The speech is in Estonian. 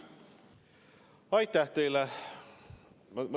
Aitäh teile!